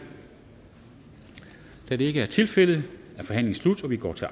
da det ikke er tilfældet er forhandlingen sluttet og vi går til